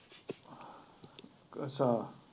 ਅੱਛਾ।